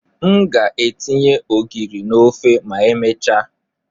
M ga etinye ogiri n'ofe ma emechaa.